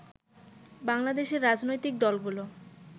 বাংলাদেশর রাজনৈতিক দলগুলো